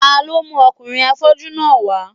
Ta ló mú ọkùnrin afọ́jú náà wá